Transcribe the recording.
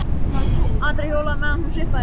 Andri hjólaði á meðan hún sippaði.